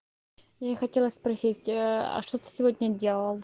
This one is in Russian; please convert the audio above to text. я и хотела спросить ээ а что ты сегодня делал